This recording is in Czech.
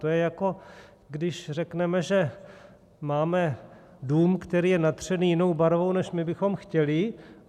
To je, jako když řekneme, že máme dům, který je natřený jinou barvou, než my bychom chtěli.